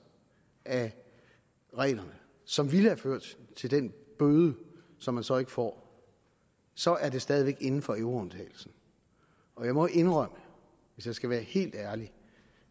af reglerne som ville have ført til den bøde som man så ikke får så er det stadig væk inden for euroundtagelsen og jeg må indrømme hvis jeg skal være helt ærlig